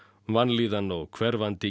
vanlíðan og hverfandi